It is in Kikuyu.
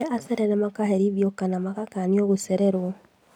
Arĩa acerere makaherithio kana magakanio gũcererwo